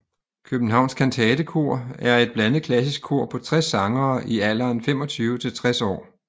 Københavns Kantatekor er et blandet klassisk kor på 60 sangere i alderen 25 til 60 år